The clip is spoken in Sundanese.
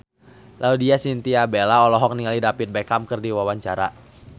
Laudya Chintya Bella olohok ningali David Beckham keur diwawancara